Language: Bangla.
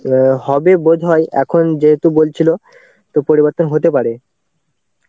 হবে বোধহয় এখন যেহেতু বলছিলো তো পরিবর্তন হতে পারে.